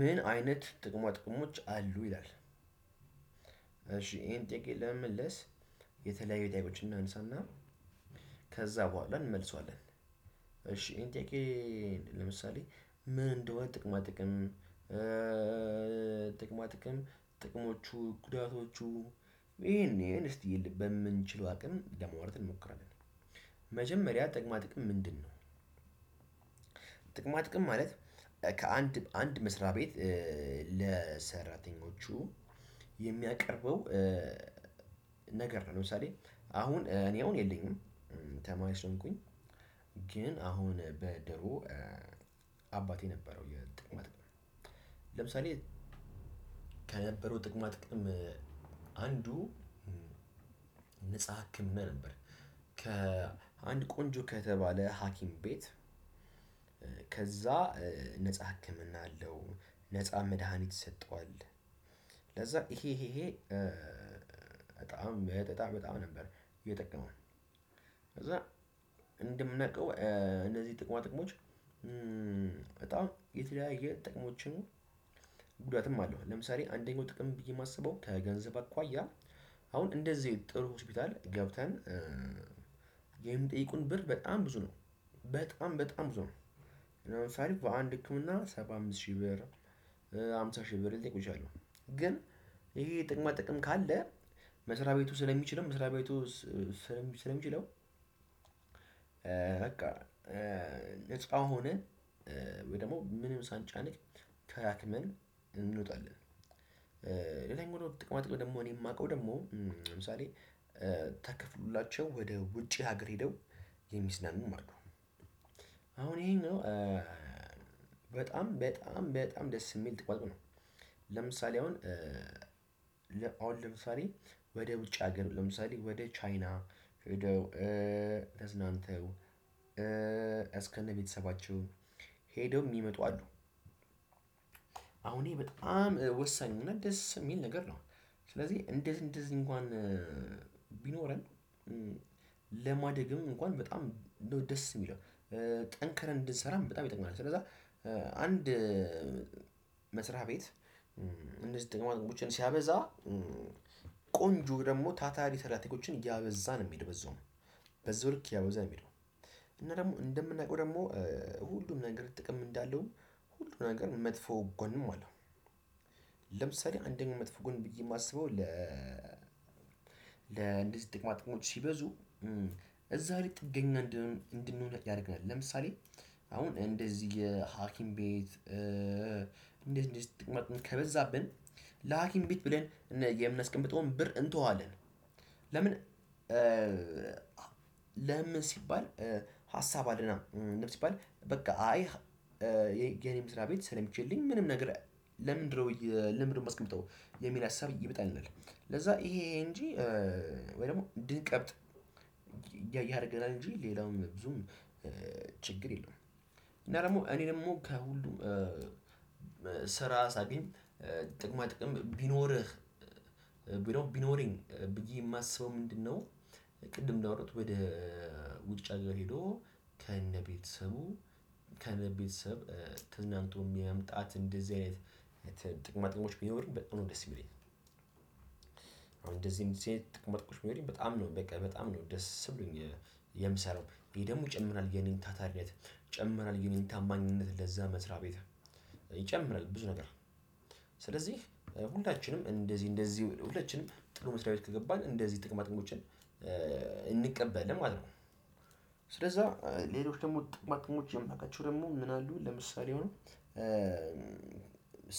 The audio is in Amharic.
ምን አይነት ጥቅማ ጥቅሞች አሉ ይላል? እሺ ይሄን ጥቂት ለመመለስ የተለያዩ ጥያቄዎችን እናንሳና ከዛ በኋላ እንመልሰዋለን። እሺ ኢንቴኬን ለምሳሌ ምን እንደሆነ ጥቅማ ጥቅም። ጥቅማ ጥቅም ጥቅሞቹ ጉዳቶቹ ይሄን እስቲ በምንችለው አቅም ለማዋራት እንሞክራለን። መጀመሪያ ጥቅማ ጥቅም ምንድነው? ጥቅማ ጥቅም ማለት ከአንድ በአንድ መስሪያ ቤት ለሰራተኞቹ የሚያቀርበው ነገር ነው። ለምሳሌ አሁን እኔ አሁን የለኝም። ተማሪ ስንኩኝ ግን አሁን በድሮ አባቴ የነበረው የጥቅማ ጥቅም ለምሳሌ ከነበረው ጥቅማ ጥቅም አንዱ ነፃ ህክምና ነበር። ከአንድ ቆንጆ ከተባለ ሀኪም ቤት ከዛ ነፃ ህክምና አለው ነፃ መድሃኒት ይሰጠዋል። ለዛ ይሄ ይሄ በጣም በጣም በጣም ነበር የጠቀመው። ከዛ እንደምናቀው እነዚህ ጥቅማ ጥቅሞች በጣም የተለያየ ጥቅሞችን። ጉዳትም አለው። ለምሳሌ አንደኛው ጥቅም ብዬ የማስበው ከገንዘብ አኳያ አሁን እንደዚህ ጥሩ ሆስፒታል ገብተን የሚጠይቁን ብር በጣም ብዙ ነው። በጣም በጣም ብዙ ነው። ለምሳሌ በአንድ ህክምና ሰባ አምስት ሺህ ብር ሃምሳ ሺህ ብር ሊጠይቁ ይችላሉ። ግን ይሄ ጥቅማ ጥቅም ካለ መስሪያ ቤቱ ስለሚችልም መስሪያ ቤቱ ስለሚችለው በቃ ነፃ ሆነህ ወይ ደግሞ ምንም ሳንጨናነቅ ታክመን እንወጣለን። ሌላኛው ጥቅማጥቅም ደግሞ እኔ የማውቀው ደግሞ ለምሳሌ ታከፍሎላቸው ወደ ውጪ ሀገር ሄደው የሚዝናኑም ማለት ነው። አሁን ይሄን በጣም በጣም በጣም ደስ የሚል ጥቅማ ጥቅም ነው። ለምሳሌ አሁን አሁን ለምሳሌ ወደ ውጭ ሀገር ለምሳሌ ወደ ቻይና ተዝናንተው እስከ እነ ቤተሰባቸው ሄደው የሚመጡ አሉ። አሁን በጣም ወሳኙ እና ደስ የሚል ነገር ነው። ስለዚህ እንደዚህ እንደዚህ እንኳን ቢኖረን ለማደግም እንኳን በጣም እንደው ደስ የሚለው ጠንክረን እንድንሰራም በጣም ይጠቅማል። ስለዛ አንድ ቤት እንደዚህ ጥቅማ ጥቅሞችን ሲያበዛ ቆንጆ ደግሞ ታታሪ ሰራተኞችን እያበዛ ነው። የሚሄደው በዛውም በዛው ልክ እያበዛ የሚለው እና ደግሞ እንደምናውቀው ደግሞ ሁሉም ነገር ጥቅም እንዳለውም ሁሉም ነገር መጥፎ ጎንም አለው። ለምሳሌ አንደኛ መጥፎ ጎን ብዬ የማስበው ለ ለ እንደዚህ ጥቅማጥቅሞች ሲበዙ እዛ ላይ ጥገኛ እንድንሆን ያደርግናል። ለምሳሌ አሁን እንደዚህ የሀኪም ቤት እንደዚህ እንደዚህ ጥቅማ ጥቅም ከበዛብን ለሀኪም ቤት ብለን የምናስቀምጠውን ብር እንተዋለን። ለምን? ለምን ሲባል ሀሳብ አለና ለምን ሲባል በቃ አይ የኔ መስሪያ ቤት ስለሚችልልኝ ምንም ነግር። ለምንድነው? ለምንድነው? ማስቀመጠው የሚል ያሳብ ይመጣልናል። ለዛ ይሄ እንጂ ወይ ደግሞ እንድንቀብጥ ያደርገናል እንጂ ሌላውም ብዙም ችግር የለውም። እና ደግሞ እኔ ደግሞ ከሁሉ ስራ ሳገኝ ጥቅማ ጥቅም ቢኖርህ ቢኖር ቢኖረኝ ብዬ የማስበው ምንድነው? ቅድም እንዳወራሁት ወደ ውጭ አገር ሄዶ ከነቤተሰቡ ከነቤተሰብ ተዝናንቶ የመምጣት እንደዚህ አይነት ጥቅማ ጥቅሞች ቢኖሩኝበጣም ነው ደስ የሚለኝ። እደዚህ እንደዚህ አይነት ጥቅማ ጥቅሞች ቢኖሩኝ በጣም ነው በቃ በጣም ነው ደስ ብሎኝ የምሰራው ይሄ ደግሞ ይጨምራል የኔን ታታሪነት ይጨምራል የኔን ታማኝነት ለዛ መስሪያ ቤት ይጨምራል ብዙ ነገር። ስለዚህ ሁላችንም እንደዚህ እንደዚህ ሁላችንም ጥሩ መስሪያ ቤት ከገባን እንደዚህ ጥቅማጥቅሞችን እንቀበላለን ማለት ነው። ስለዛ ሌሎች ደግሞ ጥቅማጥቅሞች የምናውቃቸው ደግሞ ምን አሉ? ለምሳሌ ሆኖ